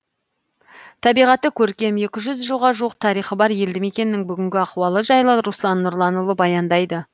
табиғаты көркем екі жүз жылға жуық тарихы бар елді мекеннің бүгінгі ахуалы жайлы руслан нұрланұлы баяндайды